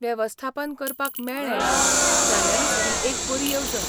वेवस्थापन करपाक मेळ्ळें जाल्यारूच ही एक बरी येवजण.